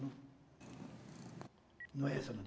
Não é essa, não.